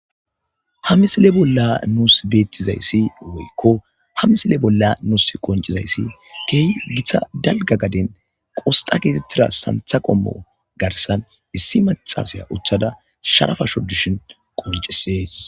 Ha misile bolla nuus beettizayssi woykko ha misile bolla nuus qoncizayssi keehi githa dalga gaden qosxa keetettida santha qommo garsan issi macasaya uthada sharafasho dishin qoncisees.